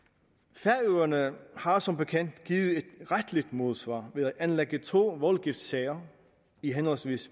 færøerne har som bekendt givet et retligt modsvar ved at anlægge to voldgiftssager i henholdsvis